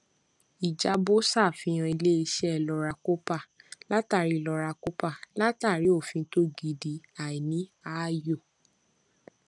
ìjábọ sàfihàn iléiṣẹ lọra kópa látàrí lọra kópa látàrí òfin tó gidi àìní ààyò